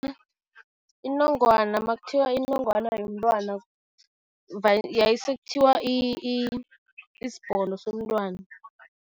Inongwana, makuthiwa inongwana yomntwana yaye sekuthiwa isibhono somntwana.